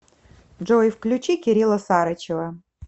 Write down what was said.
джой включи кирилла сарычева